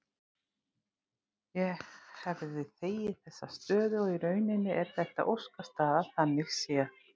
Ég hefði þegið þessa stöðu og í rauninni er þetta óskastaða þannig séð.